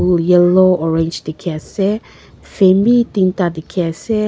yellow orange dikhi ase fan bi tinta dikhi ase.